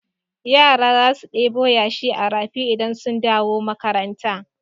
Yara za su ɗebo yashi a rafi idan sun dawo makaranta.